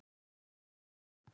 Og lifir.